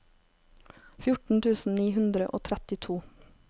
fjorten tusen ni hundre og trettito